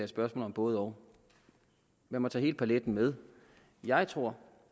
spørgsmål om både og lad mig tage hele paletten med jeg tror